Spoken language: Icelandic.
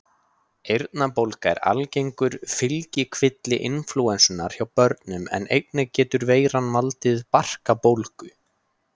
eyrnabólga er algengur fylgikvilli inflúensunnar hjá börnum en einnig getur veiran valdið barkabólgu